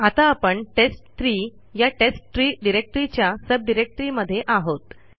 आता आपणtest3 या टेस्टट्री डिरेक्टरीच्या सब डिरेक्टरीमध्ये आहोत